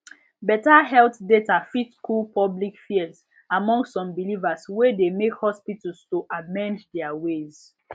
better health data fit cool public fears among some believers wey de make hospitals to amend their way